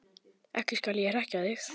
Ekki skal ég hrekkja þig.